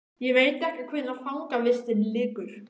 Ég veit ekki hvenær fangavistinni lýkur.